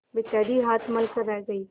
बेचारी हाथ मल कर रह गयी